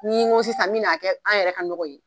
Ni n ko sisan n bɛn'a kɛ an yɛrɛ ka nɔgɔ ye